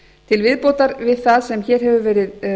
til viðbótar við það sem hér hefur verið